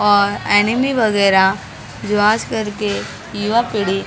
और एनेमी वगैरह जो आज करके युवा पीढ़ी बड़ा ही--